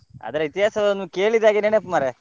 ಅದರ ಇತಿಹಾಸವನ್ನು ಕೇಳಿದಾಗೆ ನನಪು ಮಾರ್ರೆ.